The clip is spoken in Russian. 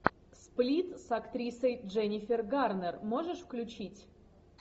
сплит с актрисой дженнифер гарнер можешь включить